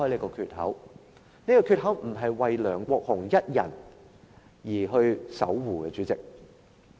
主席，這個缺口不是為梁國雄議員一人而守護的。